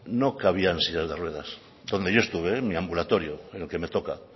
no cabían sillas de ruedas donde yo estuve en mi ambulatorio en el que me toca